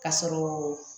Ka sɔrɔ